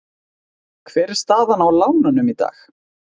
Hver er staðan á lánunum í dag?